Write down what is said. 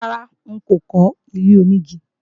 Rárá, n ò kọ́ ilé-onígi